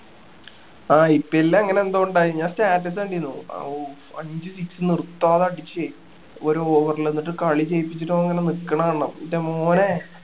ആഹ് IPL അങ്ങനെ എന്തോ ഉണ്ടായി ഞാൻ status കണ്ടീനു അഹ് അഞ്ച് six നിർത്താതെ അടിച്ചേ ഒരു over ല് എന്നിട്ട് കളി ജയിപ്പിച്ചിട്ട് അവൻ ഇങ്ങനെ നിക്കണ കാണണം ൻ്റെ മോനേ